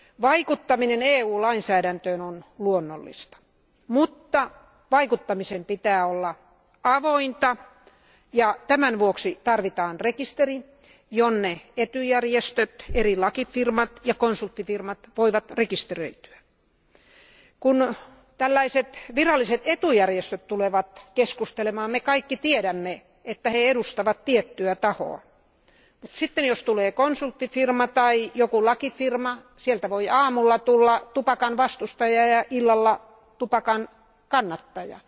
Vaikuttaminen EU lainsäädäntöön on luonnollista, mutta vaikuttamisen pitää olla avointa, ja tämän vuoksi tarvitaan rekisteri, jonne etujärjestöt, eri laki ja konsulttifirmat voivat rekisteröityä. Kun tällaiset viralliset etujärjestöt tulevat keskustelemaan, me kaikki tiedämme, että he edustavat tiettyä tahoa. Sitten jos tulee konsulttifirma tai joku lakifirma, sieltä voi aamulla tulla tupakan vastustaja ja illalla tupakan kannattaja.